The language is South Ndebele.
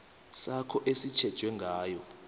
sakho esitjhejwe ngayo